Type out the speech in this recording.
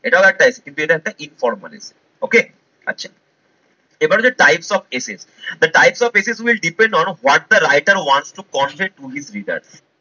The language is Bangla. এটাও একটা essay কিন্তু এটা একটা informally essay okay? আচ্ছা এবার হচ্ছে types of essays মানে types of essays will depend on what the writer want to convince to his reader